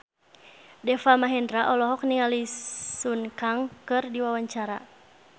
Deva Mahendra olohok ningali Sun Kang keur diwawancara